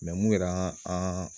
mun yɛrɛ an